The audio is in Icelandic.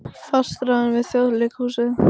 Fastráðin við Þjóðleikhúsið